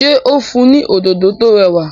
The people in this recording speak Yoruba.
ṣe o n fun ní Òdòdó tó rẹwà?